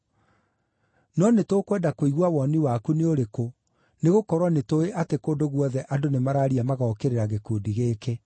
No nĩtũkwenda kũigua woni waku nĩ ũrĩkũ, nĩgũkorwo nĩtũũĩ atĩ kũndũ guothe andũ nĩmararia magokĩrĩra gĩkundi gĩkĩ.”